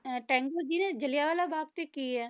ਅਹ ਟੈਗੋਰ ਜੀ ਦੇ ਜ਼ਿਲਿਆ ਵਾਲਾ ਬਾਗ਼ 'ਚ ਕੀ ਹੈ?